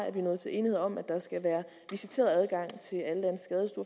at vi nåede til enighed om at der skal være visiteret adgang